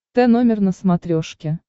тномер на смотрешке